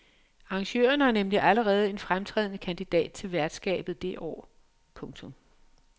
Arrangørerne har nemlig allerede en fremtrædende kandidat til værtskabet det år. punktum